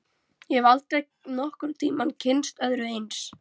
Ég hef aldrei nokkurn tíma kynnst öðru eins.